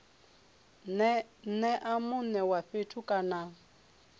nea mune wa fhethu kana